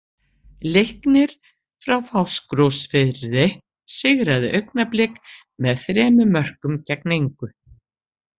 Leiknir frá Fáskrúðsfirði sigraði Augnablik með þremur mörkum gegn engu.